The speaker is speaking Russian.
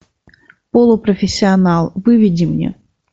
полупрофессионал выведи мне